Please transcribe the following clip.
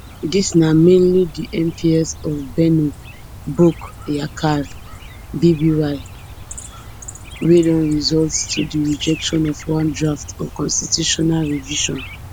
dis na mainly di mps of benno bokk yakaar bby wey don result to di rejection of one draft on constitutional revision